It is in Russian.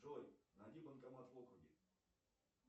джой найди банкомат в округе